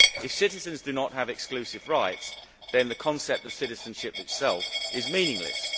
If citizens do not have exclusive rights, then the concept of citizenship itself is meaningless.